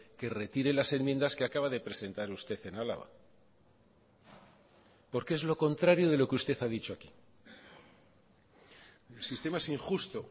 que retire las enmiendas que acaba de presentar usted en álava porque es lo contrario de lo que usted ha dicho aquí el sistema es injusto